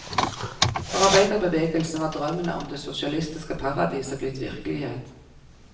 For arbeiderbevegelsen var drømmen om det sosialistiske paradiset blitt virkelighet.